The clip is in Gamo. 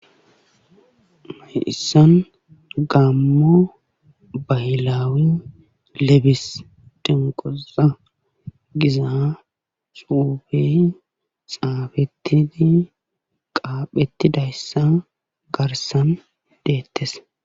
Mayissan gammo baylawi lebis denqoza giza suubey xaafettini qaaphetidayssa garsan deettes.